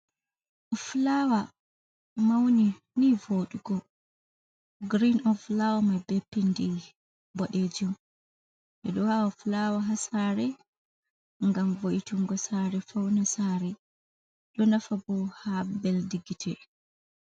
Fulaawa mawni nii vooɗugo girin oo lawni mai bee pindi boɗeejum, nden ɓe ɗo aawa fulaawa haa saare ngam vo’itingo saare fawna saare, ɗo nafa boo haa mbelndi gite.